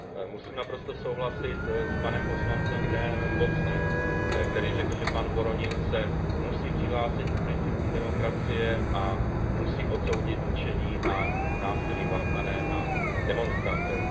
Musím naprosto souhlasit s panem poslancem Grahamem Watsonem, který řekl, že pan Voronin se musí přihlásit k principům demokracie a musí odsoudit mučení a násilí páchané na demonstrantech.